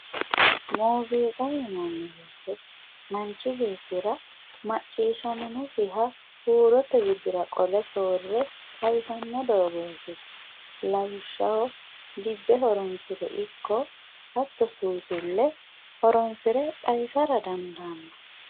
Muziiqa yinnanni woyte manchi beettira macciishshaminosiha huurote widira qolle soore xawisano doogoti lawishshaho dibbe horonsire ikko hattono suusule horonsire xawisa dandaano.